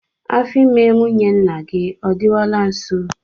Afọ ime nwunye nna gị ọ dịwala nso?